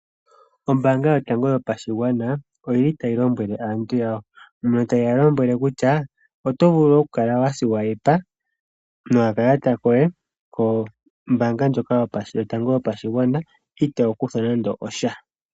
Ombaanga yotango yopashigwana oyili tayi lombwele aantu ya, mono taye yi lombwele kutya oto vulu oku kala wa nana nokakalata koye kombaanga ndjoka yotango yopashigwana itoo kuthwa nande osha.